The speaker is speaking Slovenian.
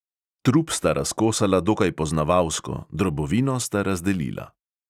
Trup sta razkosala dokaj poznavalsko, drobovino sta razdelila.